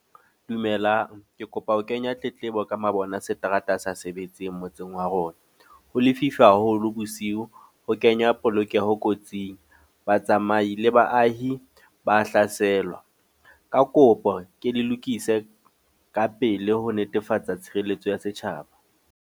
Dumelang. Ke kopa ho kenya tletlebo ka mabone a seterata a sa sebetseng motseng wa rona. Ho lefifi haholo bosiu, ho kenya polokeho kotsing. Ba tsamai le baahi ba hlaselwa. Ka kopo ke le lokise ka pele ho netefatsa tshireletso ya setjhaba.